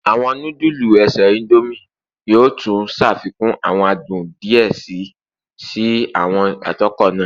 Awọn nudulu ese Indomie yoo tun ṣafikun awọn adun diẹ sii si awọn atokọ naa